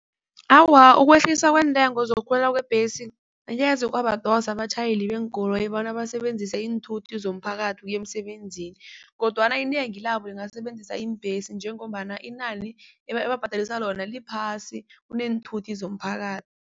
Awa, ukwehliswa kweentengo zokukhwela kwebhesi ngeze kwabadosa abatjhayeli beenkoloyi bona basebenzise iinthuthi zomphakathi ukuya emsebenzini, kodwana inengi labo lingasebenzisa iimbhesi njengombana inani ebababhadalisa lona liphasi kuneenthuthi